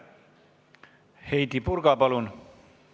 Heidy Purga, palun!